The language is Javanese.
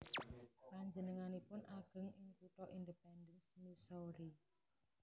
Panjenenganipun ageng ing kutha Independence Missouri